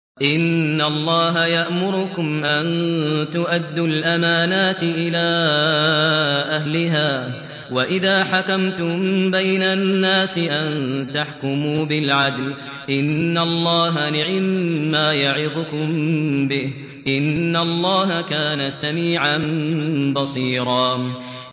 ۞ إِنَّ اللَّهَ يَأْمُرُكُمْ أَن تُؤَدُّوا الْأَمَانَاتِ إِلَىٰ أَهْلِهَا وَإِذَا حَكَمْتُم بَيْنَ النَّاسِ أَن تَحْكُمُوا بِالْعَدْلِ ۚ إِنَّ اللَّهَ نِعِمَّا يَعِظُكُم بِهِ ۗ إِنَّ اللَّهَ كَانَ سَمِيعًا بَصِيرًا